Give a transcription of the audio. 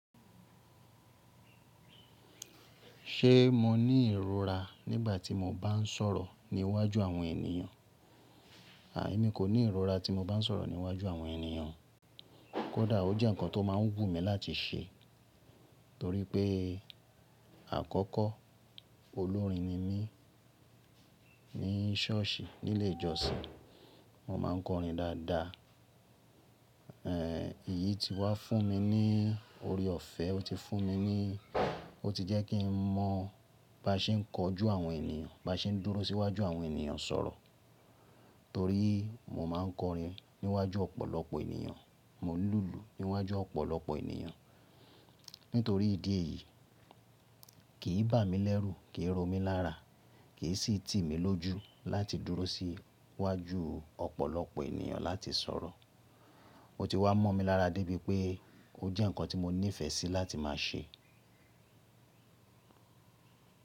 Ṣé mo ní ìrora nígbà tí mo bá ń sọ̀rọ̀ ní iwájú àwọn ènìyàn? Àìní, mi kò ní ìrora tí mo bá ń sọ̀rọ̀ ní iwájú àwọn ènìyàn. Kódà ó jẹ́ ǹkan tó máa ń wù mí láti ṣe torí pé àkọ́kọ́ olórin ni mí ní ṣọ́ọ̀ṣì nílé ìjọsìn. Mo máa ń kọrin dáadáa. Èyí ti wá fún mi ní oore ọ̀fẹ́, ó ti fún mi ní Ó ti jẹ́ kí n mọ̀ bá ṣe ń kọjú àwọn ènìyàn, bá ṣe ń dúró sí iwájú àwọn ènìyàn sọ̀rọ̀ torí mo máa ń kọrin níwájú ọ̀pọ̀lọpọ̀ ènìyàn, mo n lùlù níwájú ọ̀pọ̀lọpọ̀ ènìyàn. Nítorí ìdí èyí, kì í bà mí lẹ́rù, kì í ro mí lára, kì í sì tì mí lójú láti dúró sí iwájú ọ̀pọ̀lọpọ̀ ènìyàn láti sọ̀rọ̀. Ó ti wá mọ́ mi lára débi pé ó jẹ́ ǹkan tí mo nífẹ̀ẹ́ sí láti máa ṣe.